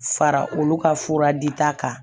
Fara olu ka fura di ta kan